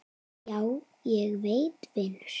Já, ég veit vinur.